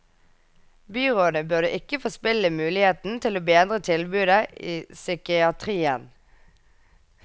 Byrådet burde ikke forspille muligheten til å bedre tilbudet i psykiatrien.